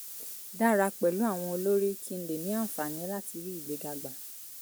dára pẹ̀lú àwọn olórí kí n lè ní àǹfààní láti rí ìgbéga gbà